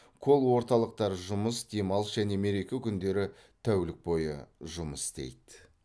колл орталықтар жұмыс демалыс және мереке күндері тәулік бойы жұмыс істейді